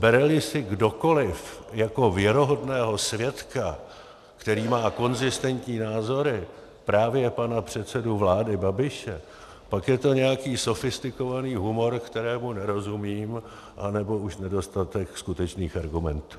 Bere-li si kdokoliv jako věrohodného svědka, který má konzistentní názory, právě pana předsedu vlády Babiše, pak je to nějaký sofistikovaný humor, kterému nerozumím, anebo už nedostatek skutečných argumentů.